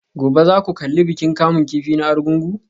Gobe ​​za ku kalli bikin kamun kifi na Argungu?